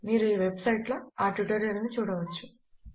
మీరు ఈ website లో ఆ ట్యుటోరియల్ ను చూడవచ్చు